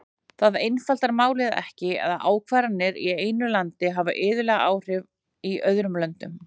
Það einfaldar málið ekki að ákvarðanir í einu landi hafa iðulega áhrif í öðrum löndum.